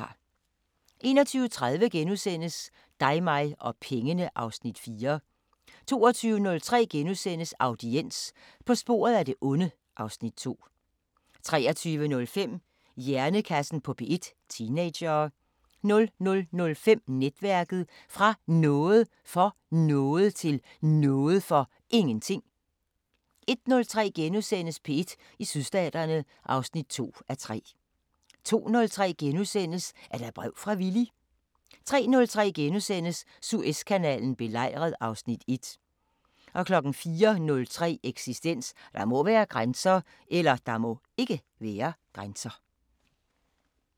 21:30: Dig mig og pengene (Afs. 4)* 22:03: Audiens – På sporet af det onde (Afs. 2)* 23:05: Hjernekassen på P1: Teenagere 00:05: Netværket: Fra Noget for Noget – til Noget for Ingenting 01:03: P1 i Sydstaterne (2:3)* 02:03: Er der brev fra Villy? * 03:03: Suezkanalen belejret (Afs. 1)* 04:03: Eksistens: Der må (ikke) være grænser